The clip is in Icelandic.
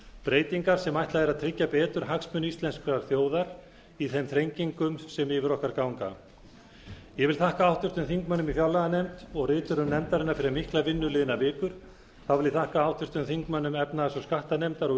breytingar sem ætlað er að tryggja betur hagsmuni íslenskrar þjóðar í þeim þrengingum sem yfir okkur ganga ég vil þakka háttvirtum þingmönnum í fjárlaganefnd og riturum nefndarinnar fyrir mikla vinnu liðnar vikur þá vil ég þakka háttvirtum þingmönnum efnahags og skattanefndar og